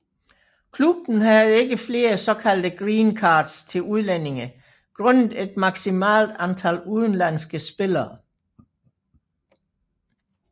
Klubben havde ikke flere såkaldte green cards til udlændinge grundet et maksmimalt antal udlandske spillere